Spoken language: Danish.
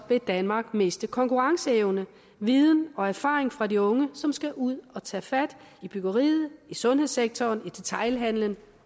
vil danmark miste konkurrenceevne viden og erfaring fra de unge som skal ud at tage fat i byggeriet i sundhedssektoren i detailhandelen